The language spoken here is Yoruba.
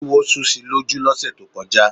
Éwo sú si lójú lọ́sẹ̀ tó kọjá.